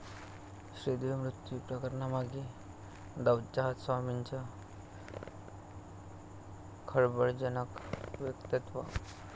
श्रीदेवी मृत्यू प्रकरणामागे दाऊदचा हात, स्वामींचं खळबळजनक वक्तव्य